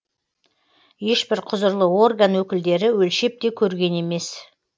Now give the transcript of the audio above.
ешбір құзырлы орган өкілдері өлшеп те көрген емес